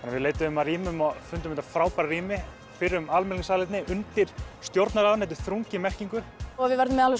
við leituðum að rýmum og fundum þetta frábæra rými fyrrum almenningssalerni undir stjórnarráðinu þetta er þrungið merkingu við verðum með